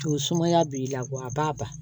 To sumaya b'i la wa a b'a ban